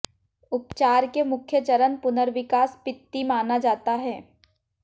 उपचार के मुख्य चरण पुनर्विकास पित्ती माना जाता है